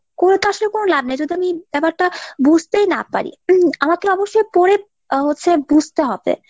করে তো আসলে কোনো লাভ নেই যদি আমি ব্যাপারটা বুঝতেই না পারি আমার তো অবশ্যই পড়ে আহ চ্ছে বুঝতে হবে।